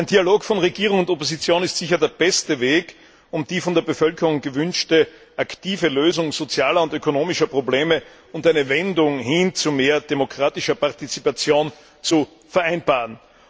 Ein Dialog von Regierung und Opposition ist sicher der beste Weg, um die von der Bevölkerung gewünschte aktive Lösung sozialer und ökonomischer Probleme und eine Wende hin zu mehr demokratischer Partizipation zu vereinbaren.